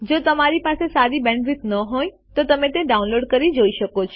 જો તમારી પાસે સારી બેન્ડવિડ્થ ન હોય તો તમે ડાઉનલોડ કરી તે જોઈ શકો છો